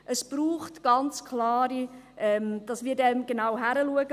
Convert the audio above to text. Es braucht ganz klar, dass wir genau hinschauen.